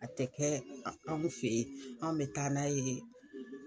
A tɛ kɛ a anw fɛ yen an bɛ taa n'a yee